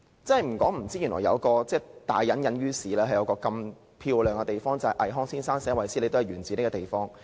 不說不知，原來大隱隱於市，香港有一個這麼漂亮的地方，連倪匡先生的作品"衛斯理"也是源自這個地方。